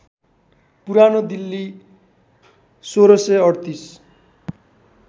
पुरानो दिल्ली १६३८